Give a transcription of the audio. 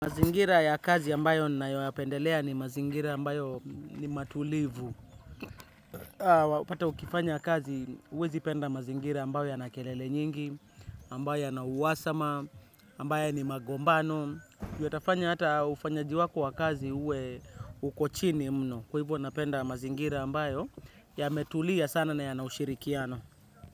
Mazingira ya kazi ambayo nayo yapendelea ni mazingira ambayo ni matulivu. Pata ukifanya kazi, uwezi penda mazingira ambayo yanakelele nyingi, ambayo yana uwasama, ambayo ni magombano. Uwe tafanya hata ufanyaji wako wa kazi uwe uko chini mno. Kwa hivo napenda mazingira ambayo yametulia sana na yanaushirikiano.